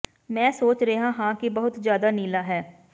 ਮੈਂ ਸੋਚ ਰਿਹਾ ਹਾਂ ਕਿ ਬਹੁਤ ਜ਼ਿਆਦਾ ਨੀਲਾ ਹੈ